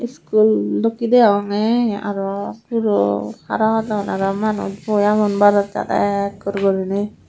iskul dokke degonge arow guro harahodon arow manuch boi agon barandat ekkur gurinei.